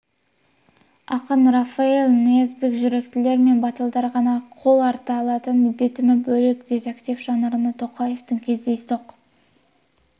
ақын рафаэль ниязбек жүректілер мен батылдар ғана қол арта алатын бітімі бөлек детектив жанрына тоқаевтың кездейсоқ